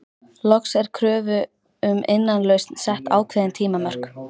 Loks er kröfu um innlausn sett ákveðin tímamörk.